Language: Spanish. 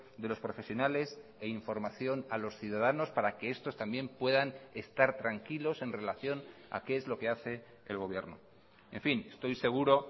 de los profesionales e información a los ciudadanos para que estos también puedan estar tranquilos en relación a qué es lo que hace el gobierno en fin estoy seguro